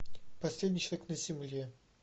последний человек на земле